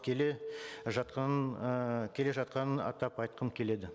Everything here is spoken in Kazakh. келе жатқанын і келе жатқанын атап айтқым келеді